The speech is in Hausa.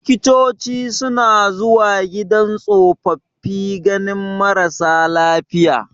Likitoci suna zuwa gidan tsofaffi ganin marasa lafiya.